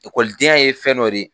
Ekɔlidenya ye fɛn dɔ de